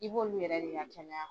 I b'olu yɛrɛ de ka kɛnɛya kɔ.